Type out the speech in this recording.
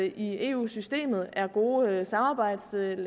i eu systemet er gode samarbejdslande